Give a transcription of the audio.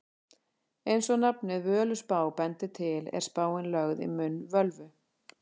Eins og nafnið Völuspá bendir til er spáin lögð í munn völvu.